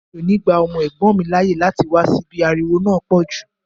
Mi ò ní gba ọmọ ẹ̀gbọ́n mi láàyè láti wá síbí, ariwo náà pọ̀ jù